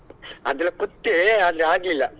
ಅದ್ರ ಕುತ್ತೆ ಆದ್ರೆ ಆಗ್ಲಿಲ್ಲ.